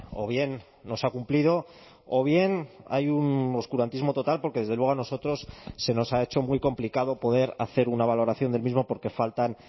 o bien no se ha cumplido o bien hay un oscurantismo total porque desde luego a nosotros se nos ha hecho muy complicado poder hacer una valoración del mismo porque faltan